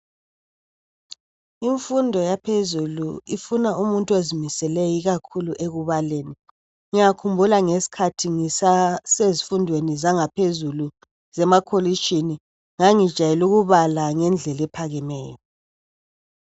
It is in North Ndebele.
imfundo yaphezulu ifuna umuntu ozimiseleyo ikakhulu ekubaleni ngiyakhula ngesikhathi ngisasezifundweni zaphezulu zemakolitshini ngangijayele ukubala ngendlela ephakemeyo